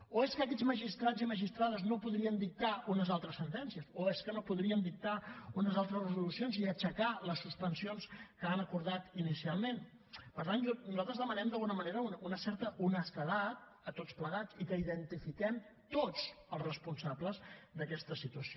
o és que aquests magistrats i magistrades no podrien dictar unes altres sentències o és que no podrien dictar unes altres resolucions i aixecar les suspensions que han acordat inicialment per tant nosaltres demanen d’alguna manera una certa honestedat a tots plegats i que identifiquem tots els responsables d’aquesta situació